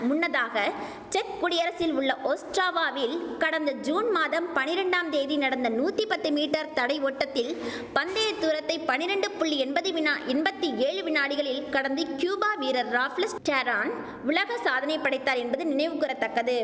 முன்னதாக செக் குடியரசில் உள்ள ஓஸ்ட்ராவாவில் கடந்த ஜூன் மாதம் பனிரெண்டாம் தேதி நடந்த நூத்தி பத்து மீட்டர் தடை ஓட்டத்தில் பந்தய தூரத்தை பனிரெண்டு புள்ளி எம்பது வினா எம்பத்தி ஏழு வினாடிகளில் கடந்து கியூப வீரர் ராப்லெஸ் டேரான் உலக சாதனை படைத்தார் என்பது நினைவு கூற தக்கது